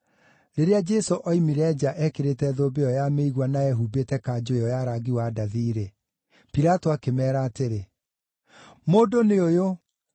Rĩrĩa Jesũ oimire nja ekĩrĩte thũmbĩ ĩyo ya mĩigua na ehumbĩte kanjũ ĩyo ya rangi wa ndathi-rĩ, Pilato akĩmeera atĩrĩ, “Mũndũ nĩ ũyũ!”